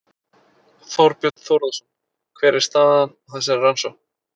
Þorbjörn Þórðarson: Hver er staðan á þessari rannsókn?